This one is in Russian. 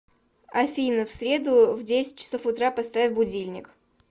афина в среду в десять часов утра поставь будильник